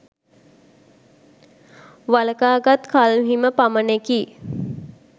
වළකාගත් කල්හිම පමණෙකි.